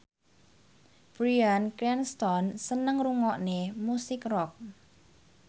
Bryan Cranston seneng ngrungokne musik rock